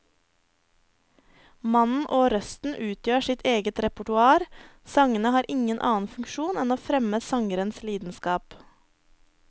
Mannen og røsten utgjør sitt eget repertoar, sangene har ingen annen funksjon enn å fremme sangerens lidenskap.